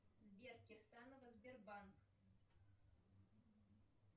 сбер кирсанова сбербанк